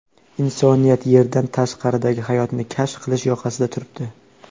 Insoniyat Yerdan tashqaridagi hayotni kashf qilish yoqasida turibdi.